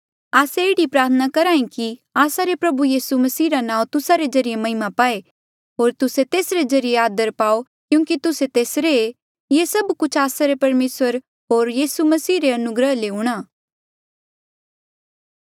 आस्से एह्ड़ी प्रार्थना करहे कि आस्सा रे प्रभु यीसू मसीह रा नाऊँ तुस्सा रे ज्रीए महिमा पाए होर तुस्से तेसरे ज्रीए आदर पाओ क्यूंकि तुस्से तेसरे ऐें ये सभ कुछ आस्सा रे परमेसर होर यीसू मसीह रे अनुग्रह ले हूंणा